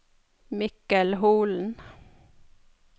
Mikkel Holen